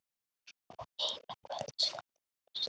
Og eina kvöldstund birti.